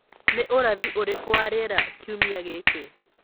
ni ũrathi ũrĩkũ wa rĩera kĩumĩa giki